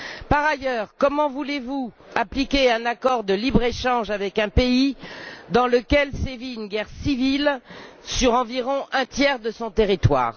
Par ailleurs, comment voulez vous appliquer un accord de libre échange avec un pays dans lequel sévit une guerre civile sur environ un tiers de son territoire?